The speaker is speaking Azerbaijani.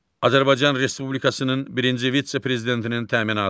Azərbaycan Respublikasının birinci vitse-prezidentinin təminatı.